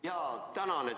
Jaa, tänan!